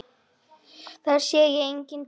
Þar sér enginn til.